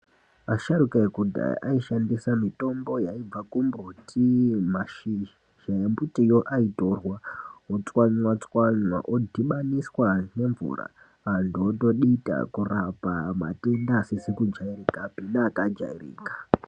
Asharuka ekudhaya aishandisa mitombo yaibva kumbuti Mashizha embutiyo airtorwa wotswanya tswanya odhibaniswa nemvura antu otodhita kurapa matenda asizi kujairika pe neakajairika.